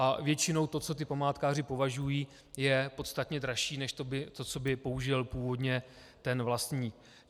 A většinou to, co ti památkáři požadují, je podstatně dražší než to, co by použil původně ten vlastník.